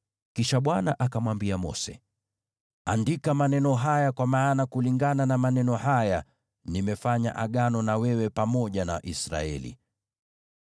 Kisha Bwana akamwambia Mose, “Andika maneno haya, kwa maana kulingana na maneno haya, nimefanya Agano na wewe pamoja na Israeli.”